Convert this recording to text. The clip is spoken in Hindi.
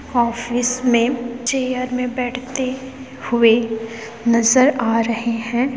ऑफिस मे चेयर मे बैठते हुए नजर आ रहे है।